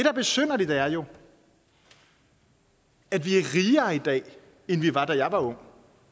er besynderligt er jo at vi er rigere i dag end vi var da jeg var ung